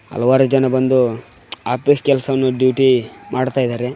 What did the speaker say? ಹಲವರ ಜನ ಬಂದು ಆಫೀಸ್ ಕೆಲಸವನ್ನು ಡ್ಯೂಟಿ ಮಾಡ್ತಾ ಇದ್ದಾರೆ.